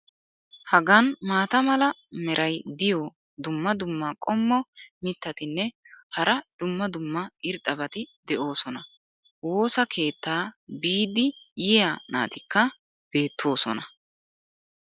hagan maata mala meray diyo dumma dumma qommo mitattinne hara dumma dumma irxxabati de'oosona. woossa keettaa biidi yiya naatikka beetoosona.